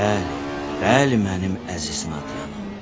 Bəli, bəli mənim əziz maqnanım.